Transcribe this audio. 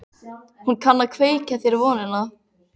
Hún kann að kveikja þér vonina.